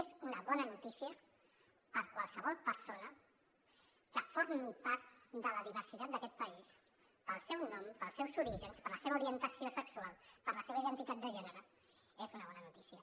és una bona notícia per a qualsevol persona que formi part de la diversitat d’aquest país pel seu nom pels seus orígens per la seva orientació sexual per la seva identitat de gènere és una bona notícia